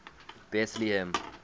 betlehem